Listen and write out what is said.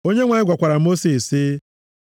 Onyenwe anyị gwakwara Mosis sị,